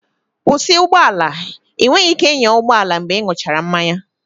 Kwụsị ụgbọ ala! Ị nweghị ike ịnya ụgbọ ala mgbe ịṅụchara mmanya